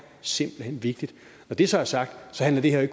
simpelt hen vigtigt når det så er sagt handler det her